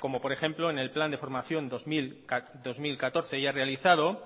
como por ejemplo en el plan de formación dos mil catorce ya realizado